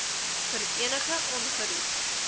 vir enige ongerief